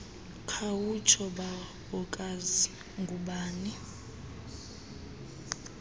khawutsho bawokazi ngoobani